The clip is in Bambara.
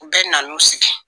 U bɛɛ na n'u sigi.